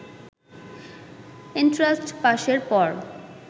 entrance পাসের পর